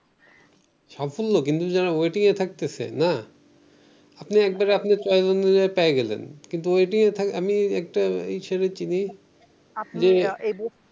সাফল্য কিন্তু যারা waiting এ থাকতেসে না আপনি একবারে আপনার চয়েস অনুযায়ী পেয়ে গেলেন কিন্তু waiting থাকে আমি একটা ইসেরে চিনি